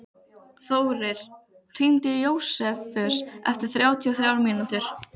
Þórir, hringdu í Jósefus eftir þrjátíu og þrjár mínútur.